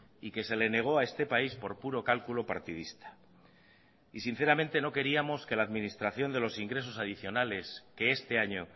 y que se le negó a este país por puro cálculo partidista y sinceramente no queríamos que la administración de los ingresos adicionales que este año